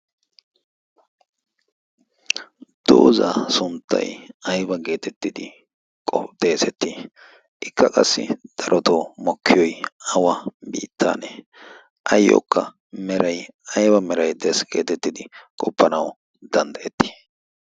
dooza sunttai aiwa geetettidi xeesettii ikka qassi darotoo mokkiyoy awa biittaanee ayyookka meray aiwa meray dees geetettidi qoppanau danddayettii?